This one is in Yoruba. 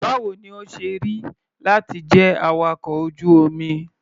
Báwo ni ó ṣe rí láti jẹ́ awakọ̀ ojú-omi?